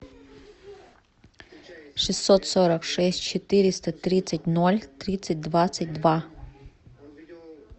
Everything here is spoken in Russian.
шестьсот сорок шесть четыреста тридцать ноль тридцать двадцать два